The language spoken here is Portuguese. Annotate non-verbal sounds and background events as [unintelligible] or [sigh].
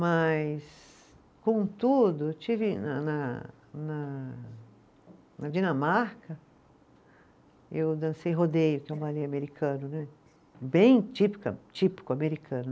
Mas, contudo, eu tive na na na na Dinamarca, eu dancei rodeio, que é [unintelligible] americano, bem típica típico americano.